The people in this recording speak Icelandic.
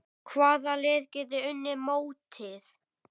Hvaða lið geta unnið mótið?